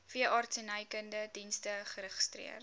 veeartsenykundige dienste geregistreer